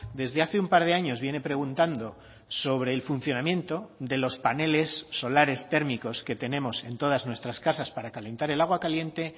desde hace un par de años viene preguntando sobre el funcionamiento de los paneles solares térmicos que tenemos en todas nuestras casas para calentar el agua caliente